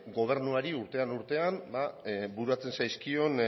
gobernuari urtean urtean bururatzen zaizkion